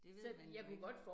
Det ved man jo ikke